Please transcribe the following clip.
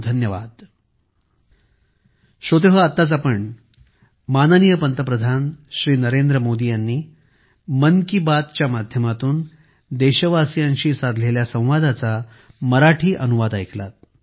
खूप खूप धन्यवाद